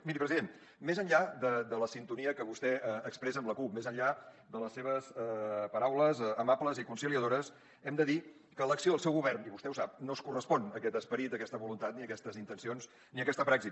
miri president més enllà de la sintonia que vostè expressa amb la cup més enllà de les seves paraules amables i conciliadores hem de dir que l’acció del seu govern i vostè ho sap no es correspon amb aquest esperit amb aquesta voluntat ni amb aquestes intencions ni amb aquesta praxi